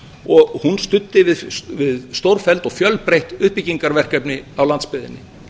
og hún studdi við stórfelld og fjölbreytt uppbyggingarverkefni á landsbyggðinni